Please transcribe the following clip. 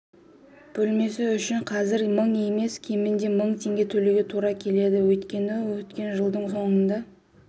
бөлмесі үшін қазір мың емес кемінде мың теңге төлеуге тура келеді өйткені өткен жылдың соңында